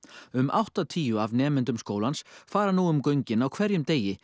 um áttatíu af nemendum skólans fara nú um göngin á hverjum degi